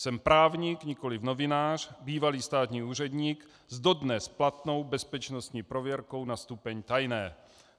Jsem právník, nikoliv novinář, bývalý státní úředník s dodnes platnou bezpečnostní prověrkou na stupeň tajné.